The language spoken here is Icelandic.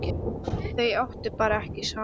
Þau áttu bara ekki saman.